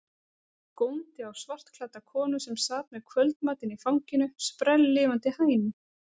Góndi á svartklædda konu sem sat með kvöldmatinn í fanginu, sprelllifandi hænu.